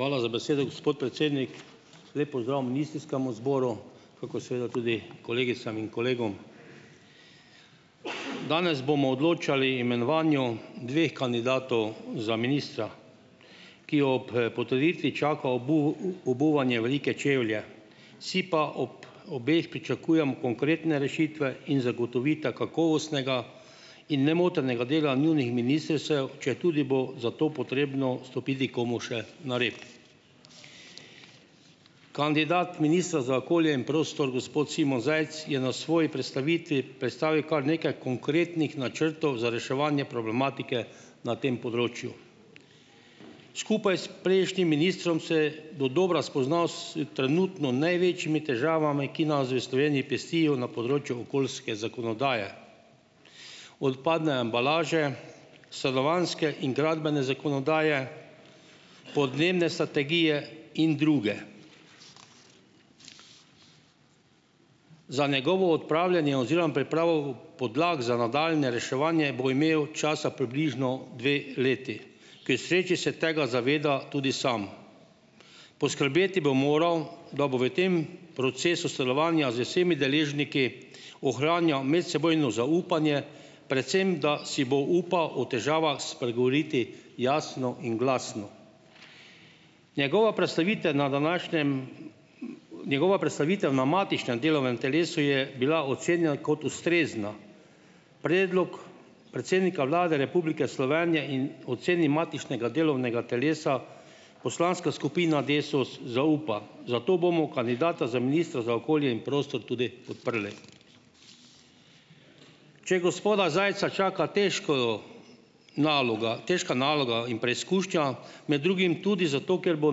Hvala za besedo, gospod predsednik. Lep pozdrav ministrskemu zboru kakor seveda tudi kolegicam in kolegom! Danes bomo odločali imenovanju dveh kandidatov za ministra, ki ob potrditvi čaka obuvanje velike čevlje. Si pa ob obeh pričakujem konkretne rešitve in zagotovita kakovostnega in nemotenega dela njunih ministrstev, četudi bo zato potrebno stopiti komu še na rep. Kandidat ministra za okolje in prostor, gospod Simon Zajc, je na svoji predstavitvi predstavil kar nekaj konkretnih načrtov za reševanje problematike na tem področju. Skupaj s prejšnjim ministrom se do dobra spoznal s trenutno največjimi težavami, ki nas v Sloveniji pestijo na področju okoljske zakonodaje, odpadne embalaže, stanovanjske in gradbene zakonodaje, podnebne strategije in druge. Za njegovo odpravljanje oziroma pripravo podlag za nadaljnje reševanje bo imel časa približno dve leti k sreči se tega zaveda tudi sam. Poskrbeti bo moral, da bo v tem procesu sodelovanja z vsemi deležniki ohranjal medsebojno zaupanje, predvsem da si bo upal spregovoriti o težavah jasno in glasno. Njegova predstavitev na današnjem, njegova predstavitev na matičnem delovnem telesu je bila ocenjena kot ustrezna. Predlog predsednika Vlade Republike Slovenije in oceni matičnega delovnega telesa, poslanska skupina Desus zaupa, zato bomo kandidata za ministra za okolje in prostor tudi podprli. Če gospoda Zajca čaka težka naloga, težka naloga in preizkušnja, med drugim tudi zato, ker bo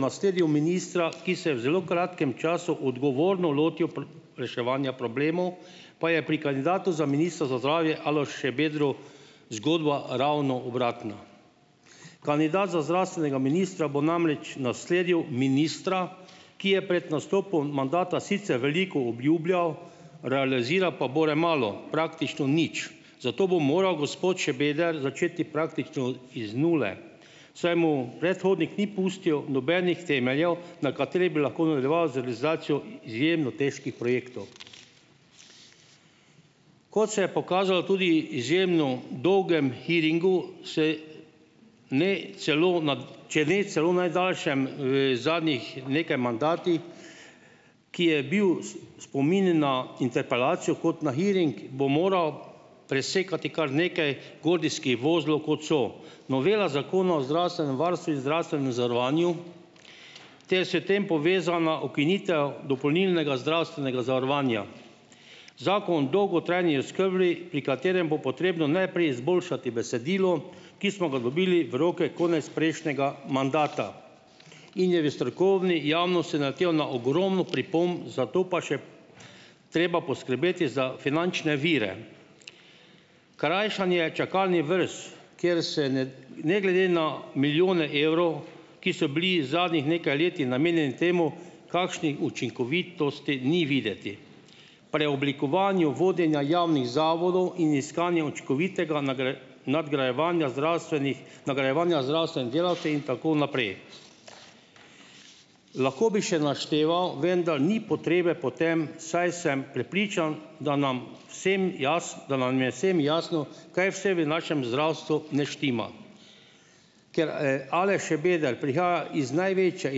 nasledil ministra, ki se je v zelo kratkem času odgovorno lotil reševanja problemov, pa je pri kandidatu za ministra za zdravje Alešu Šabedru zgodba ravno obratna. Kandidat za zdravstvenega ministra bo namreč nasledil ministra, ki je pred nastopom mandata sicer veliko obljubljal, realiziral pa bore malo, praktično nič, zato bo moral gospod Šebeder začeti praktično iz nule, saj mu predhodnik ni pustil nobenih temeljev, na katerih bi lahko nadaljeval z realizacijo izjemno težkih projektov. Kot se je pokazalo tudi izjemno dolgem hearingu, se ne celo če ne celo najdaljšem v, zadnjih nekaj mandatih, ki je bil spomin na interpelacijo kot na hearing, bo moral presekati kar nekaj gordijskih vozlov, kot so novela Zakona o zdravstvenem varstvu in zdravstvenem zavarovanju ter s tem povezana ukinitev dopolnilnega zdravstvenega zavarovanja. Zakon dolgotrajni, pri katerem bo potrebno najprej izboljšati besedilo, ki smo ga dobili v roke konec prejšnjega mandata in je v strokovni javnosti naletel na ogromno pripomb, zato pa še treba poskrbeti za finančne vire. Krajšanje čakalni vrst, kjer se ne glede na milijone evrov, ki so bili zadnjih nekaj leti namenjeni temu, kakšni učinkovitosti ni videti, preoblikovanju vodenja javnih zavodov in iskanju učinkovitega nadgrajevanja zdravstvenih nagrajevanja zdravstvenih delavcev in tako naprej. Lahko bi še našteval, vendar ni potrebe po tem, saj sem prepričan, da nam vsem da nam je vsem jasno, kaj vse v našem zdravstvu ne štima. Ker Aleš Šabeder prihaja iz največje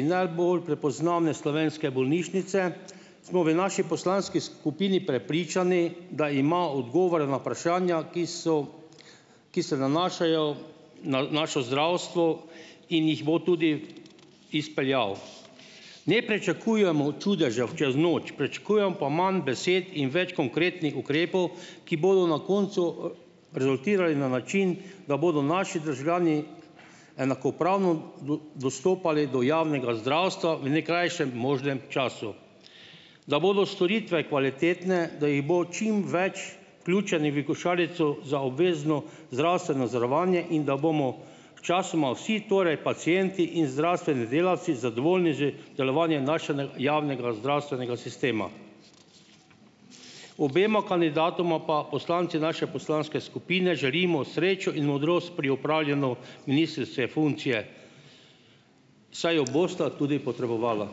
in najbolj prepoznavne slovenske bolnišnice, smo v naši poslanski skupini prepričani, da ima odgovore na vprašanja, ki so, ki se nanašajo na naše zdravstvo in jih bo tudi izpeljal. Ne pričakujemo čudežev čez noč, pričakujemo pa manj besed in več konkretnih ukrepov, ki bodo na koncu rezultirali na način, da bodo naši državljani enakopravno dostopali do javnega zdravstva v najkrajšem možnem času. Da bodo storitve kvalitetne, da jih bo čim več vključenih v košarico za obvezno zdravstveno zavarovanje in da bomo sčasoma vsi, torej pacienti in zdravstveni delavci, zadovoljni z delovanjem našega javnega zdravstvenega sistema. Obema kandidatoma pa poslanci naše poslanske skupine želimo srečo in modrost pri opravljanju ministrske funkcije, saj jo bosta tudi potrebovala.